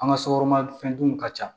An ka sokɔnɔ fɛn dunw ka ca